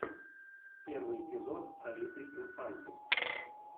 первый эпизод алиты инфанты